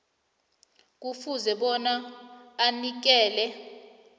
kufuze bona anikele